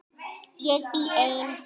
Ég bý ein.